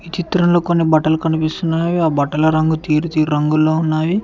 చిత్రంలో కొన్ని బట్టలు కనిపిస్తున్నావి ఆ బట్టల రంగు తీరు తీరు రంగుల్లో ఉన్నావి.